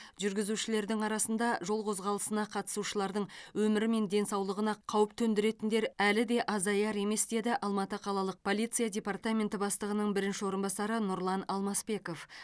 жүргізушілердің арасында жол қозғалысына қатысушылардың өмірі мен денсаулығына қауіп төндіретіндер әлі де азаяр емес деді алматы қалалық полиция департаменті бастығының бірінші орынбасары нұрлан алмасбеков